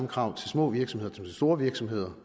krav til små virksomheder som til store virksomheder